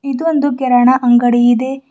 ಇದು ಒಂದು ಗಿರಣ ಅಂಗಡಿ ಇದೆ.